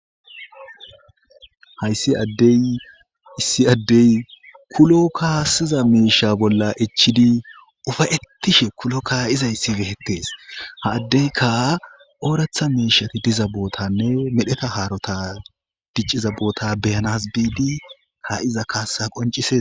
hayssi deissi addey kulo kaassiza meesha bolla echchidi ufayettishe kulo kaa7izayssi behettees ha addeyka ooratha meishati diza bootanne medheta haarota dicciza boota beyanas biidi ka iza kaasa qoncises